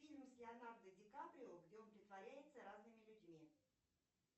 фильм с леонардо ди каприо где он притворяется разными людьми